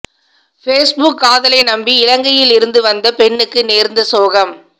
Facebook காதலை நம்பி இலங்கையில் இருந்து வந்த பெண்ணுக்கு நேர்ந்த சோகம்